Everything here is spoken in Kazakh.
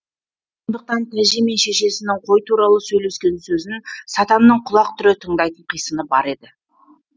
сондықтан тәжи мен шешесінің қой туралы сөйлескен сөзін сатанның құлақ түре тыңдайтын қисыны бар еді